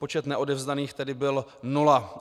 Počet neodevzdaných tedy byl nula.